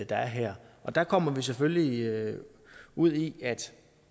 er her der kommer vi selvfølgelig ud i at